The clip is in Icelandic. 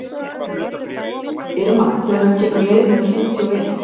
Irma, hvenær kemur leið númer fimmtíu og eitt?